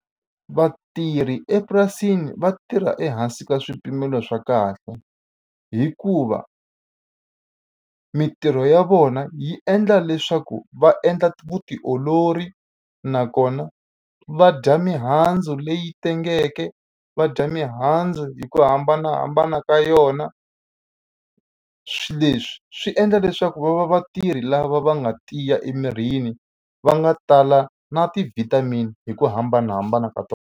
Vatirhi epurasini va tirha ehansi ka swipimelo swa kahle, hikuva mintirho ya vona yi endla leswaku va endla vutiolori, nakona va dya mihandzu leyi tengeke, va dya mihandzu hi ku hambanahambana ka yona. Swilo leswi swi endla leswaku va va vatirhi lava va nga tiya emirini, va nga tala na ti-vitamin hi ku hambanahambana ka tona.